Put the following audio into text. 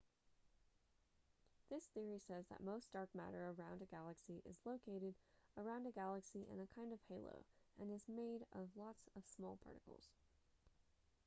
this theory says that most dark matter around a galaxy is located around a galaxy in a kind of halo and is made of lots of small particles